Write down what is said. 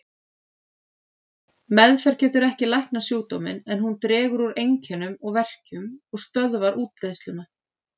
Meðferð getur ekki læknað sjúkdóminn, en hún dregur úr einkennum og verkjum og stöðvar útbreiðsluna.